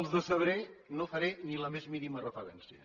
els decebré no hi faré ni la més mínima referència